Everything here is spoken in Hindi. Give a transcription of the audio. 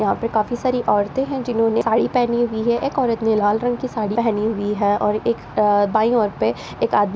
यहाँ पर काफी सारी औरते हैं जिन्होंने साड़ी पहनी हुई है एक औरत ने लाल रंग की साड़ी पहनी हुई है और एक अ बाई ओर पे एक आद --